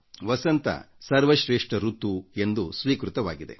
ವಸಂತ ಸರ್ವಶ್ರೇಷ್ಠ ಋತು ಎಂದು ಸ್ವೀಕೃತವಾಗಿದೆ